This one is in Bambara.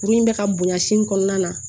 Kurun in bɛ ka bonya sin kɔnɔna na